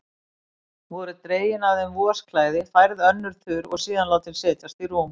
Voru dregin af þeim vosklæðin, færð önnur þurr og síðan látin setjast í rúm.